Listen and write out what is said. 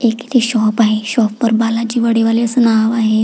एक इथे शॉप आहे शॉप वर बालाजी वडेवाले अस नाव आहे.